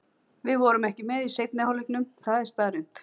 Við vorum ekki með í seinni hálfleiknum, það er staðreynd.